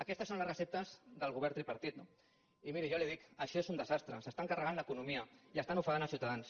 aquestes són les receptes del govern tripartit no i miri jo ja li ho dic això és un desastre s’estan carregant l’economia i estan ofegant els ciutadans